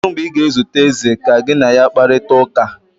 Kedu mgbe ị ga-ezute eze ka gị na ya kparịta ụka